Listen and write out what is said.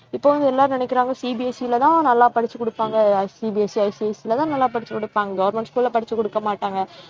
இப்போ வந்து எல்லாரும் நினைக்கிறாங்க CBSE லேதான் நல்லா படிச்சுக் கொடுப்பாங்க CBSEICSE லதான் நல்லா படிச்சுக் கொடுப்பாங்க government school ல படிச்சுக் கொடுக்க மாட்டாங்க